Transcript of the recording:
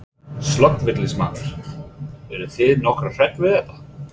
Slökkviliðsmaður: Eruð þið nokkuð hrædd við þetta?